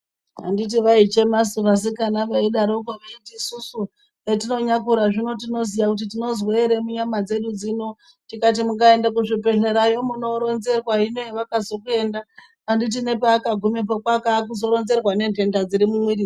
Handiti vaichemasu vasikana veidaroko veiti isusu etinonyakura zvino tinoziya kuti tinozwei ere munyama dzedu dzino tikati mukaenda kuzvibhedhlerayo munooronzerwa. Hino hevakazokuenda handiti nepaakagumepo kwakaa kuzoronzerwa nenthenda dziri mwumwirisu.